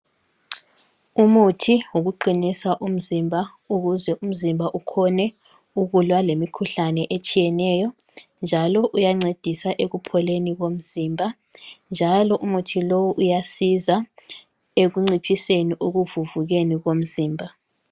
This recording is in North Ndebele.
Umuthi wokuqinisa umzimba ukuze umzimba ukhone ukulwa lemikhuhlane etshiyeneyo. Njalo uyancedisa ekupholeni komzimba, njalo umuthi lowu uyasiza ekunciphiseni ekuvuvukeni komzimba.